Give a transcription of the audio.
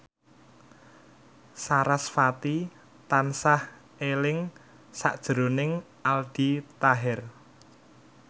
sarasvati tansah eling sakjroning Aldi Taher